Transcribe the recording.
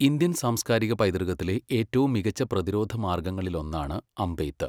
Indian സാംസ്കാരിക പൈതൃകത്തിലെ ഏറ്റവും മികച്ച പ്രതിരോധ മാർഗങ്ങളിലൊന്നാണ് അമ്പെയ്ത്ത്.